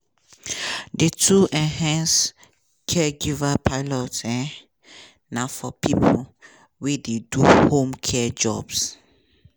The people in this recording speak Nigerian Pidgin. di two enhanced caregiver pilots um na for pipo wey dey do home care jobs.